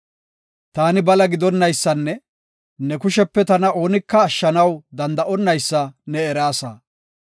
Taani bala gidonaysanne ne kushepe tana oonika ashshanaw danda7onnaysa ne eraasa.